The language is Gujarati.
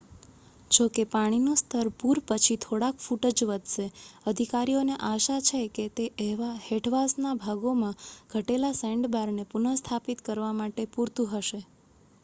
જો કે પાણીનું સ્તર પૂર પછી થોડાક ફૂટ જ વધશે અધિકારીઓને આશા છે કે તે હેઠવાસના ભાગોમાં ઘટેલા સેન્ડબારને પુનઃસ્થાપિત કરવા માટે પૂરતું હશે